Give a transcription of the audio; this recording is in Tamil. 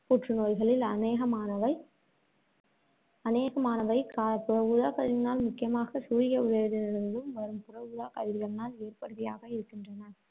புற்றுநோய்களில் அநேகமானவை அநேகமானவை புற ஊதாக்கதிரினால், முக்கியமாக சூரிய ஒளியிலிருந்தும் வரும் புற ஊதாக்கதிரினால் ஏற்படுபவையாக இருக்கின்றன.